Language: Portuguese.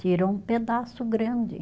Tirou um pedaço grande.